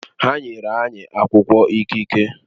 Ha nyere anyị akwụkwọ ikike